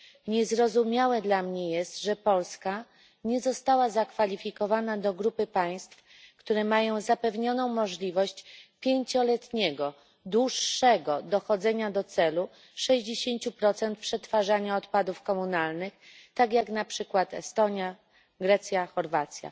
Niezrozumiałe dla mnie jest, że Polska nie została zakwalifikowana do grupy państw, które mają zapewnioną możliwość 5 letniego dłuższego dochodzenia do celu 60 przetwarzania odpadów komunalnych tak jak na przykład Estonia, Grecja, Chorwacja.